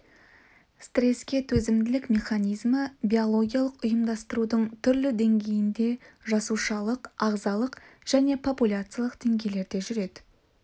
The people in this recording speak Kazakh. стреске төзімділік механизмі биологиялық ұйымдастырудың түрлі деңгейінде жасушалық ағзалық және популяциялық деңгейлерде жүреді